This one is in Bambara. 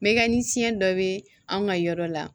Mɛ ni siɲɛ dɔ bɛ anw ka yɔrɔ la